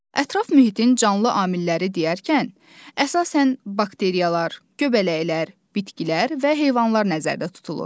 Ətraf mühitin canlı amilləri deyərkən, əsasən bakteriyalar, göbələklər, bitkilər və heyvanlar nəzərdə tutulur.